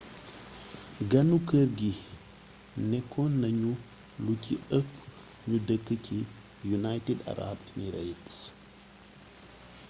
ganu kër gi nékkonañu lu ci ëpp ñu dëkk ci united arab emirates